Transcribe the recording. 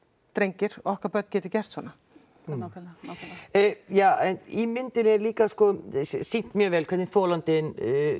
drengir okkar börn geti gert svona en ja í myndinni er líka sko sýnt mjög vel hvernig þolandinn